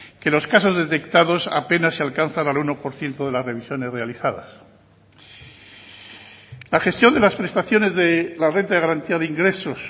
que los casos detectados apenas sí alcanzan al uno por ciento de las revisiones realizadas la gestión de las prestaciones de la renta de garantía de ingresos